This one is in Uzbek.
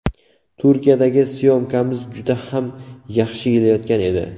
Turkiyadagi syomkamiz juda ham yaxshi ketayotgan edi.